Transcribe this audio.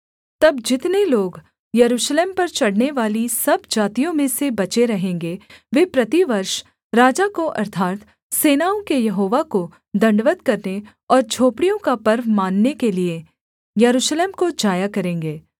तब जितने लोग यरूशलेम पर चढ़नेवाली सब जातियों में से बचे रहेंगे वे प्रतिवर्ष राजा को अर्थात् सेनाओं के यहोवा को दण्डवत् करने और झोपड़ियों का पर्व मानने के लिये यरूशलेम को जाया करेंगे